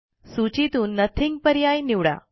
सूचीतून नथिंग पर्याय निवडा